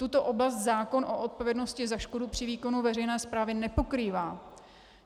Tuto oblast zákon o odpovědnosti za škodu při výkonu veřejné správy nepokrývá.